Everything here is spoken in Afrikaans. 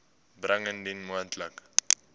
bring indien moontlik